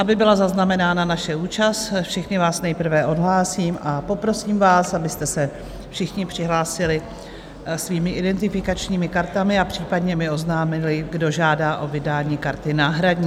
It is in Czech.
Aby byla zaznamenána naše účast, všechny vás nejprve odhlásím a poprosím vás, abyste se všichni přihlásili svými identifikačními kartami a případně mi oznámili, kdo žádá o vydání karty náhradní.